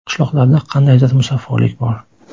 Qishloqlarda qandaydir musaffolik bor.